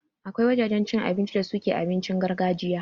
Akwai wajajen cin abinci da suke abincin gargajiya